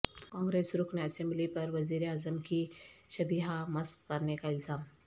کانگریس رکن اسمبلی پر وزیراعظم کی شبیہہ مسخ کرنے کا الزام